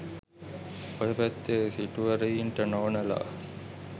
ඔය පැත්තේ සිටුවරයින්ට නෝනලා